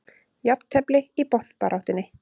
Jafntefli í botnbaráttunni